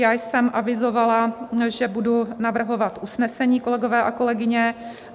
Já jsem avizovala, že budu navrhovat usnesení, kolegové a kolegyně.